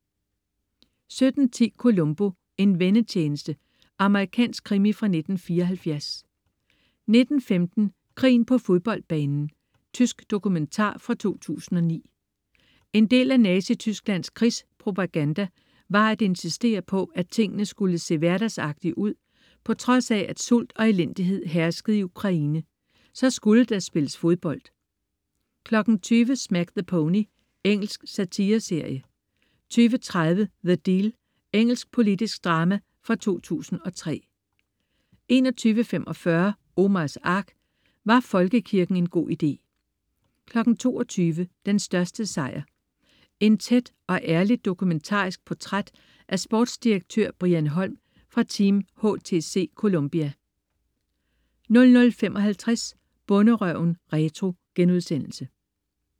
17.10 Columbo: En vennetjeneste. Amerikansk krimi fra 1974 19.15 Krigen på fodboldbanen. Tysk dokumentar fra 2009. En del af Nazitysklands krigspropaganda var at insistere på, at tingene skulle se hverdagsagtige ud. På trods af at sult og elendighed herskede i Ukraine, skulle der spilles fodbold 20.00 Smack the Pony. Engelsk satireserie 20.30 The Deal. Engelsk politisk drama fra 2003 21.45 Omars Ark. Var folkekirken en god idé? 22.00 Den største sejr. Et tæt og ærligt dokumentarisk portræt af sportsdirektør Brian Holm fra Team HTC Columbia 00.55 Bonderøven retro*